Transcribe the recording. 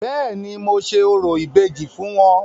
Béèni, mo ṣe orò ìbejì fún wọn.